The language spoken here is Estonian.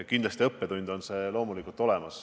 Kindlasti on see õppetund.